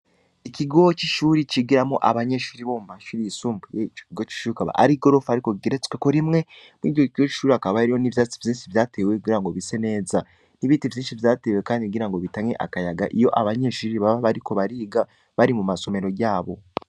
Ikigowo c'isuri cigiramo abanyeshuri bo mu mashuri yisumbuye ckgo cishriukaba ari gorofi arikogeretsweko rimwe mwigihe kiwo icuri akabayriyo n'ivyatsi vyensi vyatewe kugira ngo bise neza n'ibiti vyinshi vyatewe, kandi kugira ngo bitanye akayaga iyo abanyeshuri baba bariko bariga bari mu masomero yabo.